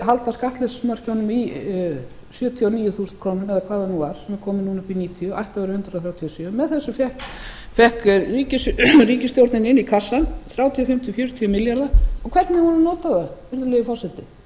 halda skattleysismörkunum í sjötíu og níu þúsund krónur eða hvað það nú var sem er komið núna upp í níutíu ættu að vera hundrað þrjátíu og sjö með þessu fékk ríkisstjórnin inn í kassann þrjátíu og fimm til fjörutíu milljarða og hvernig hefur hún notað það virðulegi forseti